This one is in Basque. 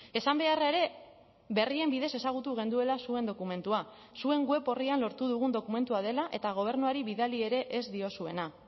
esan beharra ere berrien bidez ezagutu genuela zuen dokumentua zuen web orrian lortu dugun dokumentua dela eta gobernuari bidali ere ez diozuena